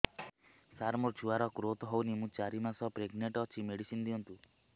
ସାର ମୋର ଛୁଆ ର ଗ୍ରୋଥ ହଉନି ମୁ ଚାରି ମାସ ପ୍ରେଗନାଂଟ ଅଛି ମେଡିସିନ ଦିଅନ୍ତୁ